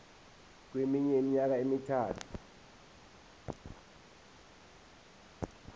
kweminye iminyaka emithathu